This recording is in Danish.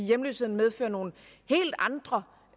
hjemløsheden medfører nogle helt andre